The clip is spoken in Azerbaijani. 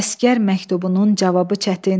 Əsgər məktubunun cavabı çətin.